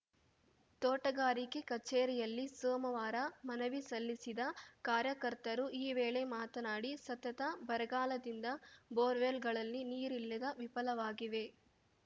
ತೋಟಗಾರಿಕೆ ಕಚೇರಿಯಲ್ಲಿ ಸೋಮವಾರ ಮನವಿ ಸಲ್ಲಿಸಿದ ಕಾರ್ಯಕರ್ತರು ಈ ವೇಳೆ ಮಾತನಾಡಿ ಸತತ ಬರಗಾಲದಿಂದ ಬೋರ್‌ವೆಲ್‌ಗಳಲ್ಲಿ ನೀರಿಲ್ಲದೆ ವಿಫಲವಾಗಿವೆ